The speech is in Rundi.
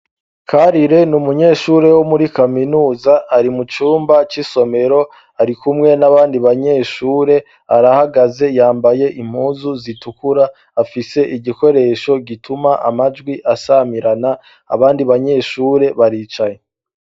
Karire ni munyeshure wo muri kaminuza. Ari mu cumba c'isomero, ari kumwe n'abandi banyeshure. Arahagaze, yambaye impuzu zitukura, afise igikoresho gituma amajwi asamirana. Abandi banyeshure baricaye.